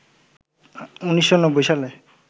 ১৯৯০ সালে